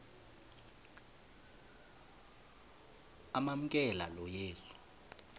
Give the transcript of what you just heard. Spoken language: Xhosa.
amamkela lo yesu